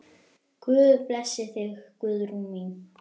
Guð blessi þig, Guðrún mín.